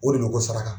O de bɛ ko saraka